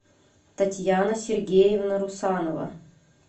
татьяна сергеевна русанова